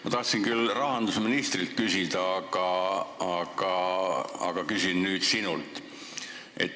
Ma tahtsin küll rahandusministrilt küsida, aga küsin nüüd sinult.